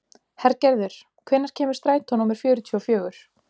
Hergerður, hvenær kemur strætó númer fjörutíu og fjögur?